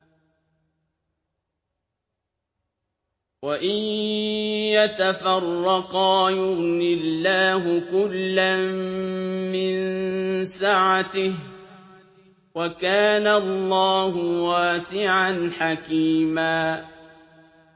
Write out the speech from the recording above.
وَإِن يَتَفَرَّقَا يُغْنِ اللَّهُ كُلًّا مِّن سَعَتِهِ ۚ وَكَانَ اللَّهُ وَاسِعًا حَكِيمًا